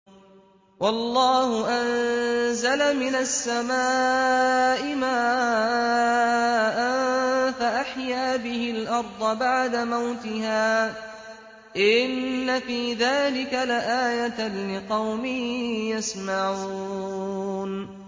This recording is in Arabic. وَاللَّهُ أَنزَلَ مِنَ السَّمَاءِ مَاءً فَأَحْيَا بِهِ الْأَرْضَ بَعْدَ مَوْتِهَا ۚ إِنَّ فِي ذَٰلِكَ لَآيَةً لِّقَوْمٍ يَسْمَعُونَ